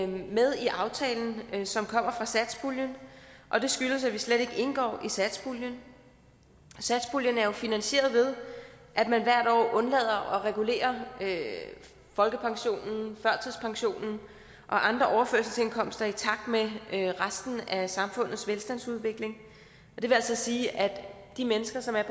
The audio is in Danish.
med i aftalen som kommer fra satspuljen og det skyldes at vi slet ikke indgår i satspuljen satspuljen er jo finansieret ved at man hvert år undlader at regulere folkepensionen førtidspensionen og andre overførselsindkomster i takt med resten af samfundets velstandsudvikling det vil altså sige at de mennesker som er